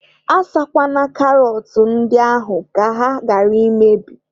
A sakwana karọt ndị ahụ ka ha ghara imebi.